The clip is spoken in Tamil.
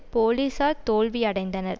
போலீஸார் தோல்வி அடைந்தனர்